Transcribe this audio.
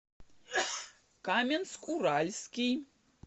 каменск уральский